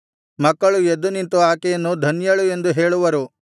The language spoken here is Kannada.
ಮಕ್ಕಳು ಎದ್ದುನಿಂತು ಆಕೆಯನ್ನು ಧನ್ಯಳು ಎಂದು ಹೇಳುವರು